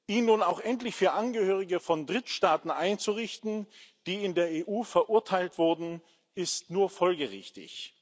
Ihn nun auch endlich für Angehörige von Drittstaaten einzurichten, die in der EU verurteilt wurden, ist nur folgerichtig.